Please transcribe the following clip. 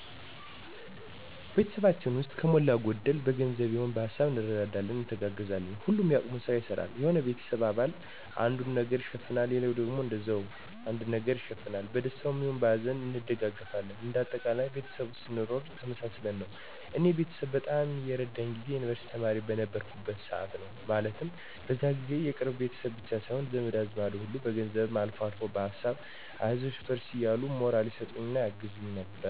ቤተሰባችን ውስጥ ከሞላ ጎደል በገንዘብም ይሆን በሀሳብ እንረዳዳለን፣ እንተጋገዛለን። ሁሉም የአቅሙን ስራ ይሰራል። የሆነ የቤተሰብ አባል አንዱን ነገር ይሸፍናል ሌላውም እንደዛው የሆነ ነገር ይሸፍናል። በደስታም ይሁን በሀዘን እንደጋገፋለን እንደ አጠቃላይ ቤተሰብ ውስጥ ስንኖር ተመሳስለን ነው። እኔ ቤተሰብ በጣም የረዳኝ ጊዜ የዩንቨርስቲ ተማሪ በነበርኩበት ሰዓት ነው። ማለትም በዛ ጊዜ የቅርብ ቤተሰብ ብቻ ሳይሆን ዘመድ አዝማድ ሁሉ ከገንዘብም አልፎ በሀሳብ አይዞሽ በርቺ እያሉ ሞራል ይሰጡኝ ያግዙኝ ነበር።